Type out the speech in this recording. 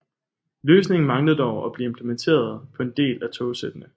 Løsningen manglede dog at blive implementeret på en del af togsættene